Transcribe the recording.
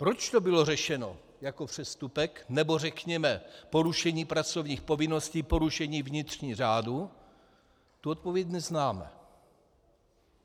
Proč to bylo řešeno jako přestupek, nebo řekněme porušení pracovních povinností, porušení vnitřních řádů, tu odpověď neznáme.